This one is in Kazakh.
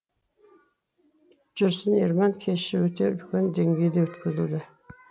жүрсін ерман кеші өте үлкен деңгейде өткізілді